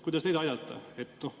Kuidas neid aidata?